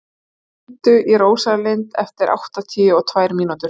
Guja, hringdu í Rósalind eftir áttatíu og tvær mínútur.